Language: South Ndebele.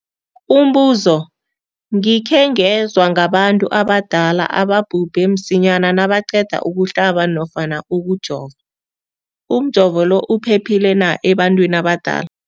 Umbuzo, gikhe ngezwa ngabantu abadala ababhubhe msinyana nabaqeda ukuhlaba nofana ukujova. Umjovo lo uphephile na ebantwini abadala?